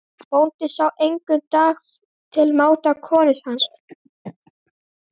Bóndinn sá að enginn dagur var til máta konu hans.